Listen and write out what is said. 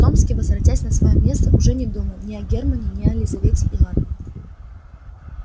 томский возвратясь на своё место уже не думал ни о германне ни о лизавете ивановне